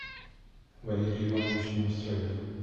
валерий иванович неустроев